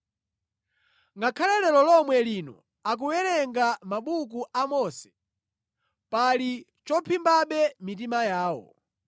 Ngakhale lero lomwe lino akuwerenga mabuku a Mose pali chophimbabe mitima yawo.